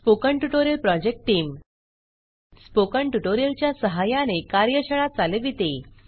spoken tutorial project team spoken tutorial च्या सहाय्याने कार्यशाळा चालविते